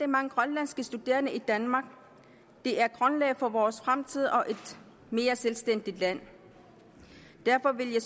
mange grønlandske studerende i danmark de er grundlaget for vores fremtid og et mere selvstændigt land derfor vil jeg